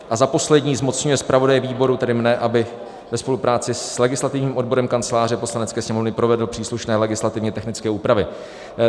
A za poslední, zmocňuje zpravodaje výboru, tedy mne, aby ve spolupráci s legislativním odborem Kanceláře Poslanecké sněmovny provedl příslušné legislativně technické úpravy.